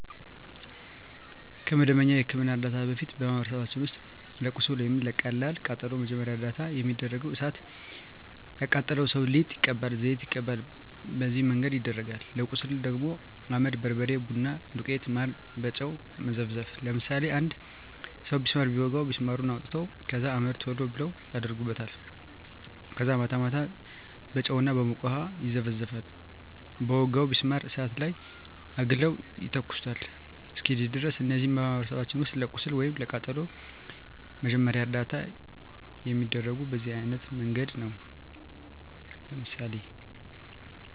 ከመደበኛ የሕክምና ዕርዳታ በፊት፣ በማኅበረሰባችን ውስጥ ለቁስል ወይም ለቀላል ቃጠሎ መጀመሪያ ደረጃ እርዳታ የሚደረገው እሣት የቃጠለው ሠው ሊጥ ይቀባል፤ ዘይት ይቀባል፤ በነዚህ መንገድ ይደረጋል። ለቁስል ደግሞ አመድ፤ በርበሬ፤ ቡና ዱቄት፤ ማር፤ በጨው መዘፍዘፍ፤ ለምሳሌ አንድ ሠው ቢስማር ቢወጋው ቢስማሩን አውጥተው ከዛ አመድ ቶሎ ብለው አደርጉበታል ከዛ ማታ ማታ በጨው እና በሞቀ ውሀ ይዘፈዝፈዋል በወጋው ቢስማር እሳት ላይ አግለው ይተኩሱታል እስኪድን ድረስ። እነዚህ በማኅበረሰባችን ውስጥ ለቁስል ወይም ለቀላል ቃጠሎ መጀመሪያ ደረጃ እርዳታ የሚደረገው በዚህ አይነት መንገድ ነው። ለምሳሌ